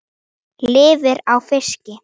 Lifir á fiski.